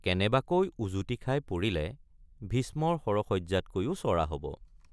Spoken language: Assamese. কেনেবাকৈ উজুটি খাই পৰিলে ভীষ্মৰ শৰশয়্যাতকৈও চৰা হব।